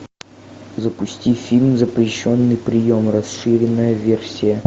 запусти фильм запрещенный прием расширенная версия